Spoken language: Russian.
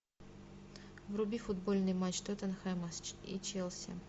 вруби футбольный матч тоттенхэма и челси